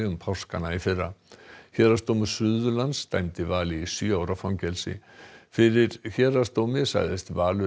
um páskana í fyrra héraðsdómur Suðurlands dæmdi Val í sjö ára fangelsi fyrir héraðsdómi sagðist Valur